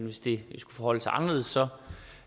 hvis det skulle forholde sig anderledes så